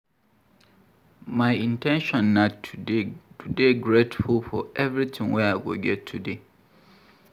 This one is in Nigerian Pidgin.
My in ten tion na to dey grateful for everytin wey I go get today.